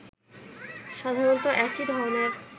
সাধারণতঃ একই ধরনের